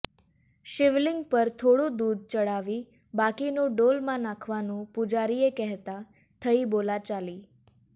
શિવલિંગ પર થોડું દૂધ ચડાવી બાકીનું ડોલમાં નાખવાનું પુજારીએ કહેતા થઈ બોલાચાલી